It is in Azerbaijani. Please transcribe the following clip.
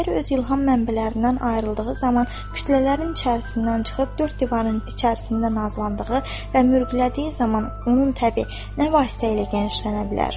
Şair öz ilham mənbələrindən ayrıldığı zaman kütlələrin içərisindən çıxıb dörd divarın içərisində nazlandığı və mürgüldədiyi zaman onun təbi nə vasitə ilə genişlənə bilər?